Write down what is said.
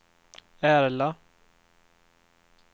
Ärla